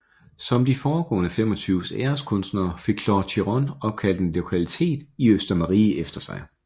Som de foregående 25 æreskunstnere fik Claude Chichon opkaldt en lokalitet i Østermarie efter sig